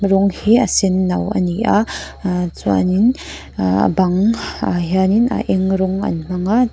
a rawng hi a senno ani a ah chuanin ah a bang ah hian in a eng rawng an hmang a chuan--